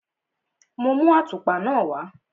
Mo mú àtùpa náà wá.